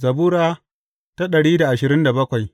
Zabura Sura dari da ashirin da bakwai